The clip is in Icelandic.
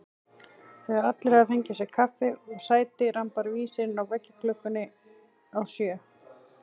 Þegar allir hafa fengið sér kaffi og sæti rambar vísirinn á veggklukkunni á sjö.